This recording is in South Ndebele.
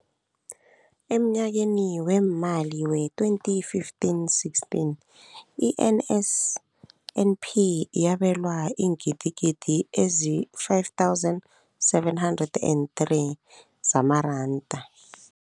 Emnyakeni weemali we-2015, 16, i-NSNP yabelwa iingidigidi ezi-5 703 zamaranda.